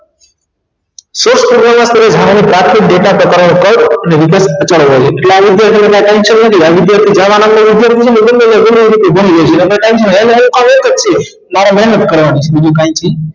softwear માં કોઈ ભારે પ્રાથમિક data પ્રકારો કઈ અને વિકલ્પ મારે મેહનત કરવાની છે બીજું કાઈ છે નહિ